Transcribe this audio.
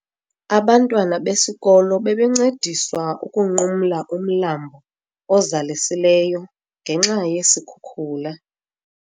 Abantwana besikolo bebencediswa ukunqumla umlambo ozalisileyo ngenxa yesikhukula.